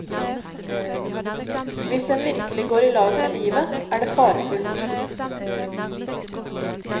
Hvis en virkelig går i lag med livet, er det farefullt.